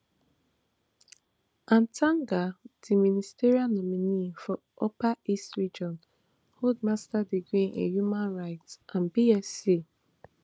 atanga di ministerial nominee for upper east region hold masters degree in human rights and bsc